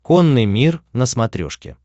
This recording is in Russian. конный мир на смотрешке